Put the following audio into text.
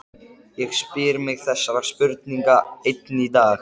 Ég spyr mig þessarar spurningar enn í dag.